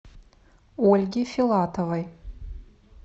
ольге филатовой